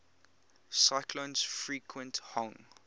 cyclones frequent hong